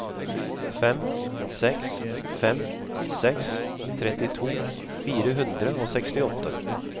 fem seks fem seks trettito fire hundre og sekstiåtte